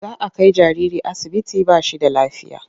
Za a kai jariri asibiti ba shi da lafiya.